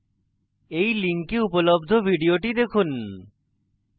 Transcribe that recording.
এই link উপলব্ধ video দেখুন